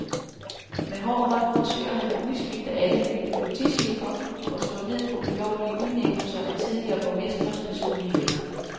Med hård hånd forsøger han at udskifte alle byens politichefer og slå ned på ulovlige udnævnelser af tidligere borgmestres personlige venner.